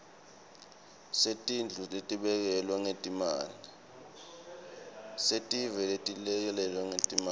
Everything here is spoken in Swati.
setindlu letelekelelwe ngetimali